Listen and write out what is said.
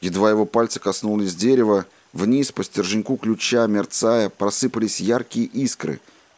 едва его пальцы коснулись дерево в низ по стерженьку ключа мерцая просыпались яркие искры